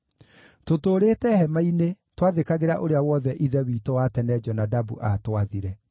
Tũtũũrĩte hema-inĩ twathĩkagĩra ũrĩa wothe ithe witũ wa tene Jonadabu aatwathire.